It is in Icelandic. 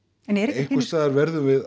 einhvers staðar verðum við